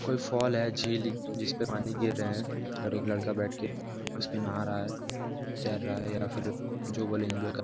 कोई फॉल है झील जिससे पानी गिर रहा है और लड़का बैठ के उस पर नाहा रहा है तैर रहा है या फिर जो बोले इंजॉय --